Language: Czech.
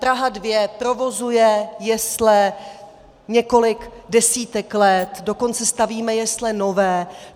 Praha 2 provozuje jesle několik desítek let, dokonce stavíme jesle nové.